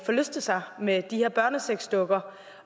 forlyste sig med de her børnesexdukker